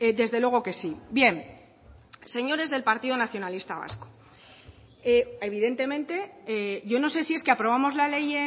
desde luego que sí bien señores del partido nacionalista vasco evidentemente yo no sé si es que aprobamos la ley